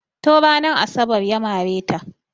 Tun ranar asabar ya mare ta.